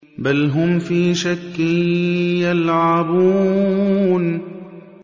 بَلْ هُمْ فِي شَكٍّ يَلْعَبُونَ